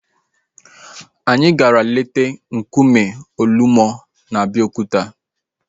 Anyị gara leta nkume Olumo na Abeokuta